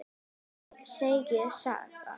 Það er segin saga.